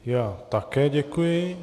Já také děkuji.